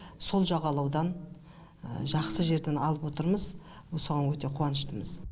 сол жағалаудан жақсы жерден алып отырмыз соған өте қуаныштымыз